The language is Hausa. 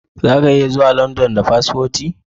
Zaka iya zuwa London ba paspoti